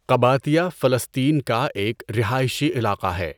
Qabatiya فلسطین کا ایک رہائشی علاقہ ہے۔